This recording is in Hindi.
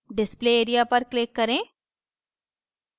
display area पर click करें